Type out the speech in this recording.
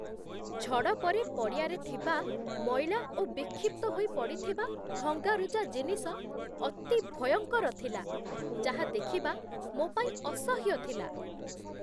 ଝଡ଼ ପରେ ପଡ଼ିଆରେ ଥିବା ମଇଳା ଓ ବିକ୍ଷିପ୍ତ ହୋଇ ପଡ଼ିଥିବା ଭଙ୍ଗାରୁଜା ଜିନିଷ ଅତି ଭୟଙ୍କର ଥିଲା, ଯାହା ଦେଖିବା ମୋ ପାଇଁ ଅସହ୍ୟ ଥିଲା।